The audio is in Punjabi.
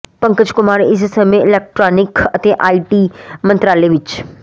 ਪੰਕਜ ਕੁਮਾਰ ਇਸ ਸਮੇਂ ਇਲੈਕਟ੍ਰਾਨਿਕ ਅਤੇ ਆਈ ਟੀ ਮੰਤਰਾਲੇ ਵਿੱਚ